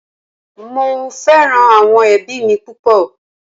Mo fẹ́ràn àwọn ẹbí mi púpọ̀